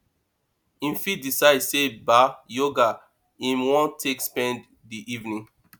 im fit decide sey ba yoga im wan take spend di evening